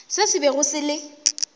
se se bego se le